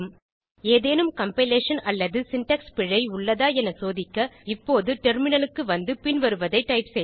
ஏதேனும் கம்பைலேஷன் அல்லது சின்டாக்ஸ் பிழை ஏதும் உள்ளதா என சோதிக்க இப்போது டெர்மினலுக்கு வந்து பின்வருவதை டைப் செய்க